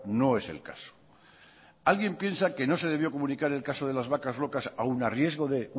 no es el caso alguien piensa que no se debió comunicar el caso de las vacas locas aun a riesgo de